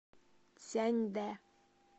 цзяньдэ